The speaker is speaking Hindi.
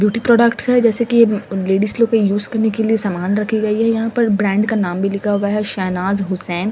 ब्यूटी प्रोडक्ट्स है जैसे कि लेडीस लोग को यूज करने के लिए सामान रखी गई है यहां पर ब्रांड का नाम भी लिखा हुआ है शहनाज हुसैन--